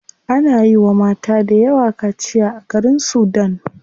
Ana yiwa mata dayawa kaciya a garin sudan.